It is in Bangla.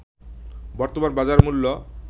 বর্তমান বাজার মূল্য